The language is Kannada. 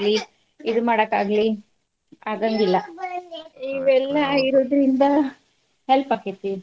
ಆಗ್ಲಿ, ಇದನ್ ಮಾಡಕಾಗ್ಲಿ ಆಗಂಗಿಲ್ಲಾ. ಇವೆಲ್ಲಾ ಇರೋದ್ರಿಂದ help ಆಕ್ಕೆತಿ.